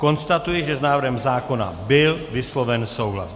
Konstatuji, že s návrhem zákona byl vysloven souhlas.